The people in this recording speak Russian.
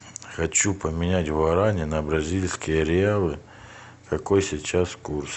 хочу поменять гуарани на бразильские реалы какой сейчас курс